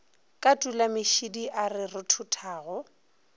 ka tulamešidi a re rothothago